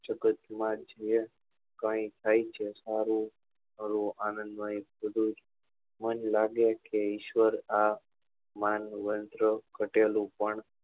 જગત માં જે કાઈ થાય છે સારું આણંદ મય બધું જ મન લાગે કે ઈશ્વર આ માન વંત્ર કટેલું પણ